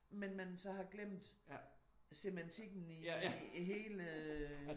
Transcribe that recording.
Men man så har glemt semantikken i hele øh